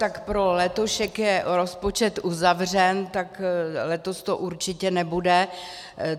Tak pro letošek je rozpočet uzavřen, tak letos to určitě nebude.